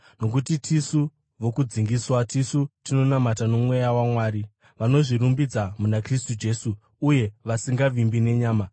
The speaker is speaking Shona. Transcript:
Nokuti tisu vokudzingiswa, tisu tinonamata noMweya waMwari, vanozvirumbidza muna Kristu Jesu, uye vasingavimbi nenyama,